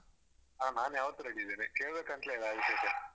ನಾನು ಯಾವತ್ತೂ ready ಇದ್ದೇನೆ ಕೇಳ್ಬೇಕಂತ್ಲೇ ಇಲ್ಲಆ ವಿಷ್ಯಕ್ಕೆ